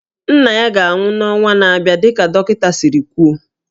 Nna ya ga-anwụ n'ọnwa na-abịa dịka dọkịta siri kwuo